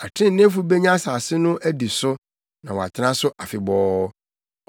Atreneefo benya asase no adi so na wɔatena so afebɔɔ.